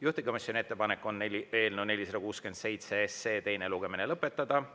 Juhtivkomisjoni ettepanek on eelnõu 467 teine lugemine lõpetada.